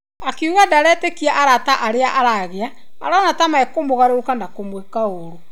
Akiuga ndaretĩkia arata arĩa aragĩa arona ta mekũmũgarũrũka na kũmũĩka ũru.